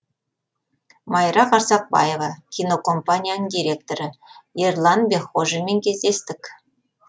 майра қарсақбаева кинокомпанияның директоры ерлан бекхожинмен кездестік